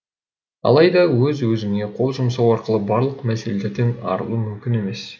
алайда өз өзіңе қол жұмсау арқылы барлық мәселеден арылу мүмкін емес